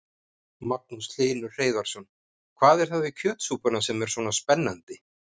Magnús Hlynur Hreiðarsson: Hvað er það við kjötsúpuna sem er svona spennandi?